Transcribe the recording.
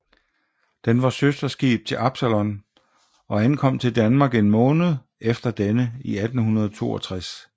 Den var søsterskib til Absalon og ankom til Danmark en måned efter denne i 1862